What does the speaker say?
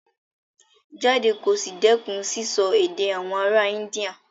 Jáde kí o sì dẹ́kun sísọ èdè àwọn ará India.